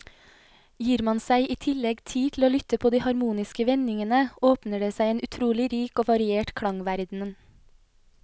Gir man seg i tillegg tid til å lytte på de harmoniske vendingene, åpner det seg en utrolig rik og variert klangverden.